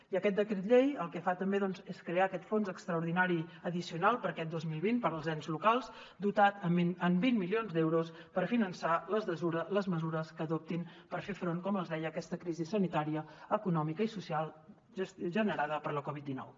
i aquest decret llei el que fa també és crear aquest fons extraordinari addicional per a aquest dos mil vint per als ens locals dotat amb vint milions d’euros per finançar les mesures que adoptin per fer front com els deia a aquesta crisi sanitària econòmica i social generada per la covid dinou